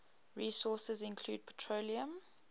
resources include petroleum